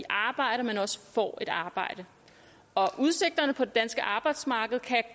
arbejde men også får et arbejde og udsigterne på det danske arbejdsmarked kan